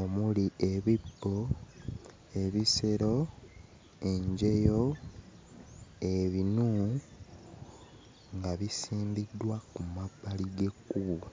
omuli, ebibbo, ebisero, enjeyo, ebinu nga bisimbiddwa ku mabbali g'ekkubo.